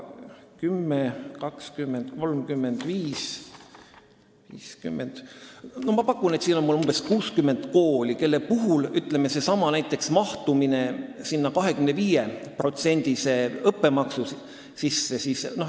10, 20, 35, 50 – ma pakun, et siin on umbes 60 kooli, kelle puhul võib näiteks rääkida mahtumisest selle 25%-lise õppemaksu sisse.